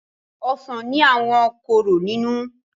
ọsán ní àwọn kóró nínú.